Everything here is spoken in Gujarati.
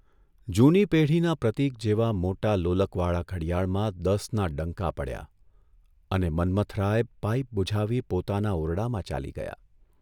જૂની પેઢીના પ્રતીક જેવા મોટા લોલકવાળા ઘડિયાળમાં દસના ડંકા પડ્યા અને મન્મથરાય પાઇપ બુઝાવી પોતાના ઓરડામાં ચાલી ગયા.